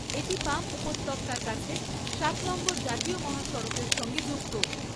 এটি পাম উপত্যকার কাছে সাত নম্বর জাতীয় মহাসড়কের সঙ্গে যুক্ত।